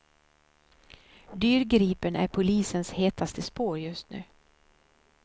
Dyrgripen är polisens hetaste spår just nu.